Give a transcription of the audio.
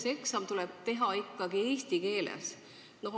Ja see eksam tuleb teha ikkagi eesti keeles.